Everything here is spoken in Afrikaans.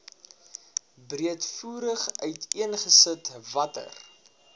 breedvoerig uiteengesit watter